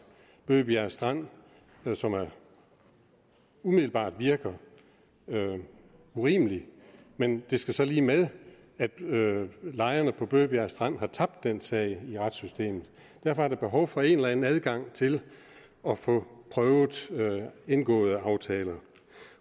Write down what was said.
bøgebjerg strand som umiddelbart virker urimelig men det skal så lige med at lejerne på bøgebjerg strand har tabt den sag i retssystemet derfor er der behov for en eller anden adgang til at få prøvet indgåede aftaler